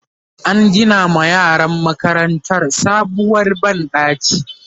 an Gina ma yaran makarantar sabuwar banɗaki